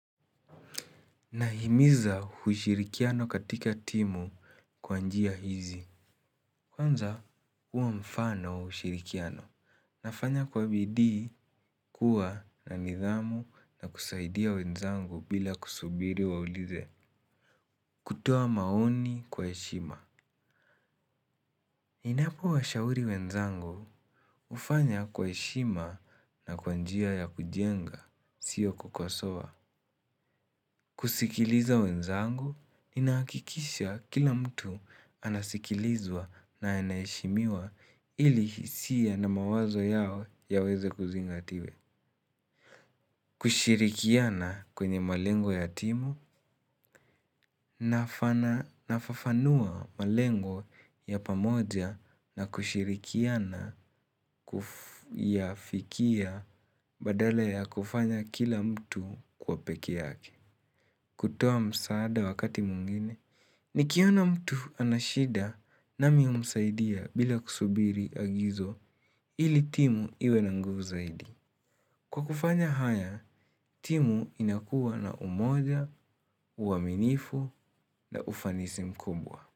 Nahimiza ushirikiano katika timu kwa njia hizi. Kwanza, kuwa mfano wa ushirikiano. Nafanya kwa bidi kuwa na nidhamu na kusaidia wenzangu bila kusubiri waulize. Kutoa maoni kwa heshima. Ninapo washauri wenzangu, hufanya kwa heshima na kwa njia ya kujenga, siyo kukosowa. Kusikiliza wenzangu, inahakikisha kila mtu anasikilizwa na anaheshimiwa ili hisia na mawazo yawe yaweze kuzingatiwe. Kushirikiana kwenye malengo ya timu, nafafanua malengo ya pamoja na kushirikiana ya fikia badala ya kufanya kila mtu kwa pekee yake. Kutoa msaada wakati meingine, nikiona mtu ana shida nami humsaidia bila kusubiri agizo ili timu iwe na nguvu zaidi. Kwa kufanya haya, timu inakuwa na umoja, uaminifu na ufanisi mkubwa.